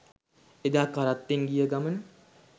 එදා කරත්තෙන් ගිය ගමන